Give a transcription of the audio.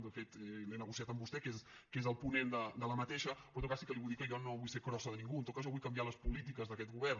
de fet l’he negociat amb vostè que n’és el ponent però en tot cas sí que li vull dir que jo no vull ser crossa de ningú en tot cas jo vull canviar les po·lítiques d’aquest govern